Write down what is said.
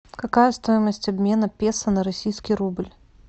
какая стоимость обмена песо на российский рубль